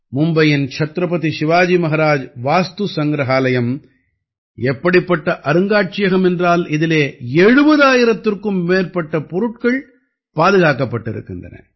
மும்பையின் சத்ரபதி சிவாஜி மஹராஜ் வாஸ்து சங்கிரஹாலயம் எப்படிப்பட்ட அருங்காட்சியகம் என்றால் இதிலே 70000ற்கும் மேற்பட்ட பொருட்கள் பாதுகாக்கப்பட்டிருக்கின்றன